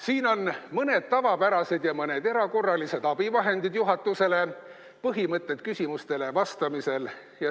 Siin on mõned tavapärased ja mõned erakorralised abivahendid juhatusele – põhimõtted küsimustele vastamisel.